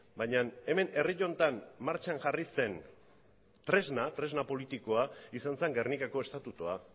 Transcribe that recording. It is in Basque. baina hemen herri honetan martxan jarri zen tresna tresna politikoa izan zen gernikako estatutua